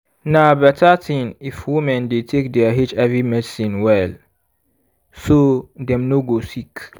na better thing if women dey take their hiv medicine well so dem no go sick